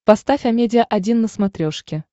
поставь амедиа один на смотрешке